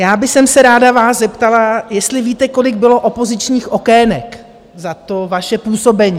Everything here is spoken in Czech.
Já bych se vás ráda zeptala, jestli víte, kolik bylo opozičních okének za to vaše působení?